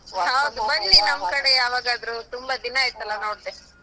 ಹೌದು ಬನ್ನಿ ಕಡೆ ಯಾವಾಗಾದ್ರೂ ತುಂಬ ದಿನಾಯಿತಲ್ಲ ನೋಡ್ದೆ.